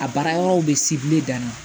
A baara yɔrɔw bɛ dan na